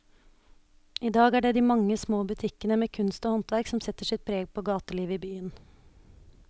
I dag er det de mange små butikkene med kunst og håndverk som setter sitt preg på gatelivet i byen.